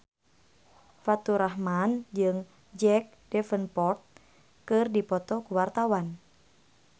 Faturrahman jeung Jack Davenport keur dipoto ku wartawan